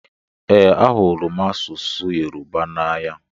Ee, ahụrụ masụsụ Yorùbá n'anya.